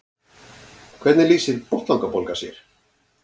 hvernig lýsir botnlangabólga sér